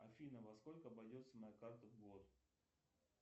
афина во сколько обойдется моя карта в год